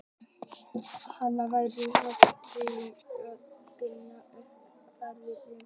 anna væri honum þá í raun óskiljanleg og byði upp á fáránlegar rangtúlkanir.